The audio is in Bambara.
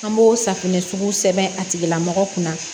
An b'o safinɛ sugu sɛbɛn a tigila mɔgɔ kunna